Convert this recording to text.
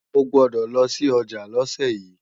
O gbọ́dọ̀ lọ sí ọjà lọ́sẹ̀ yí!